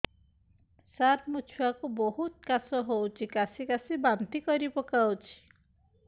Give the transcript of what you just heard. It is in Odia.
ସାର ମୋ ଛୁଆ କୁ ବହୁତ କାଶ ହଉଛି କାସି କାସି ବାନ୍ତି କରି ପକାଉଛି